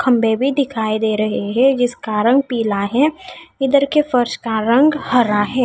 खम्बे भी दिखाई दे रहे है जिसका रंग पिला है उदर के फर्श का रंग हरा है।